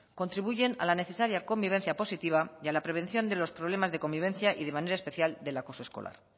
contribuyen a la necesaria convivencia positiva y a la prevención de los problemas de convivencia y de manera especial del acoso escolar